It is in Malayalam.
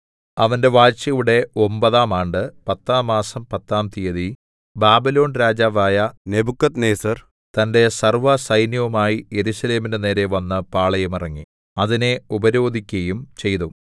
അവന്റെ വാഴ്ചയുടെ ഒമ്പതാം ആണ്ട് പത്താം മാസം പത്താം തിയ്യതി ബാബിലോൺ രാജാവായ നെബൂഖദ്നേസർ തന്റെ സർവ്വസൈന്യവുമായി യെരൂശലേമിന്റെ നേരെ വന്ന് പാളയം ഇറങ്ങി അതിനെ ഉപരോധിക്കയും ചെയ്തു